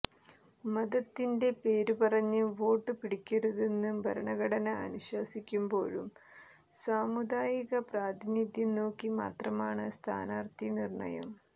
മതത്തിന്റെ പേരുപറഞ്ഞ് വോട്ട് പിടിക്കരുതെന്ന് ഭരണഘടന അനുശാസിക്കുമ്പോഴും സാമുദായിക പ്രാതിനിധ്യം നോക്കി മാത്രമാണ് സ്ഥാനാര്ത്ഥി നിര്ണയം